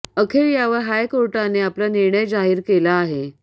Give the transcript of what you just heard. अखेर यावर हायकोर्टाने आपला निर्णय जाहीर केला आहे